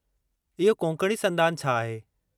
इहो कोंकणी संदान छा आहे?